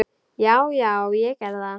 Já, já, ég gerði það.